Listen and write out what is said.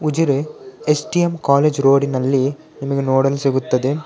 Ujire SDM college ರೋಡಿನಲ್ಲಿ ನಿಮಗೆ ನೋಡಲು ಸಿಗುತ್ತದೆ.